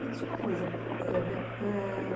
Me diz uma coisa, eh, Bel.